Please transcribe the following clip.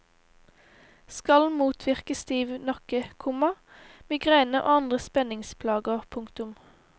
Skal motvirke stiv nakke, komma migrene og andre spenningsplager. punktum